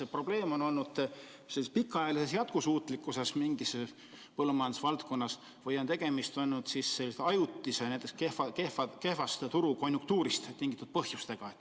Kas probleem on olnud pikaajalises jätkusuutlikkuses mingis põllumajandusvaldkonnas või on tegemist selliste ajutiste, näiteks kehvast turukonjunktuurist tingitud põhjustega?